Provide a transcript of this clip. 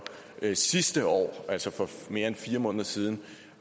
sidste år altså for mere end fire måneder siden